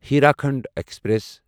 Hirakhand express